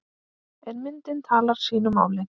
En myndin talar sínu máli.